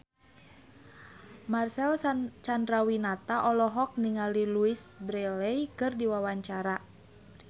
Marcel Chandrawinata olohok ningali Louise Brealey keur diwawancara